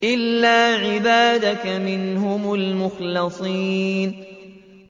إِلَّا عِبَادَكَ مِنْهُمُ الْمُخْلَصِينَ